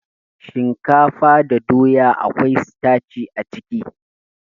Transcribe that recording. Shinkafa da doya akwai sitaci a ciki